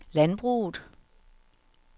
landbruget